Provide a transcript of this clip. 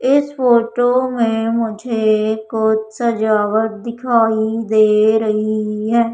इस फोटो में मुझे कुछ सजावट दिखाई दे रही है।